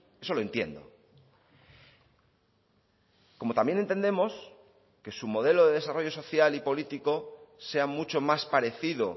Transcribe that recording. eso lo entiendo como también entendemos que su modelo de desarrollo social y político sea mucho más parecido